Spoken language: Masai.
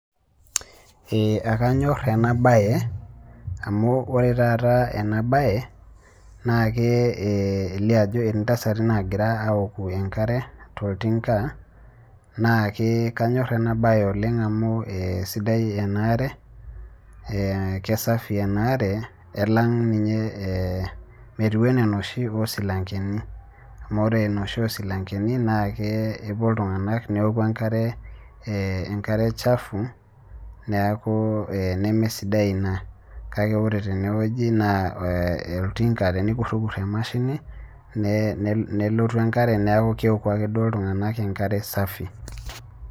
ee ekanyor ena bae amu ore taata ena bae, naa kelio ajo etii ntasati naagira aoku enkare toltinka. naa kanyor ena bae amu kesidai ena are.ee kesafi ena are, elang' ninye, ee metiu anaa enoshi oosilankeni. amu ore enoshi osilankeni naa epuo iltunganak enoku enkare chafu neeku ee nemesidai ina. kakae ore tene wueji, ee oltinka tenikurikur emashini, nelotu enkare neeku keoku ake duo iltunganak enkare safi.